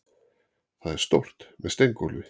Það er stórt, með steingólfi.